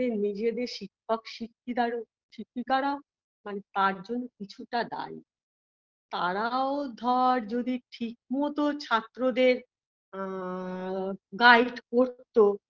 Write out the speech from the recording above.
সে নিজেদের শিক্ষক-শিক্ষিকিদারো শিক্ষিকারা মানে পাঁচজন কিছুটা দায়ী তারাও ধর যদি ঠিক মত ছাত্রদের আ guide করতো